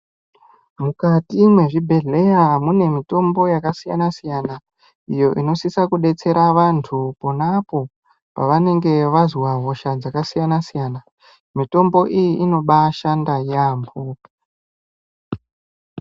Mukati me zvibhedhleya mune mutombo yaka siyana siyana iyo ino sisa ku detsera vantu ponapo pavanenge vazwa hosha dzaka siyana siyana mitombo iyi inobai shanda yambo.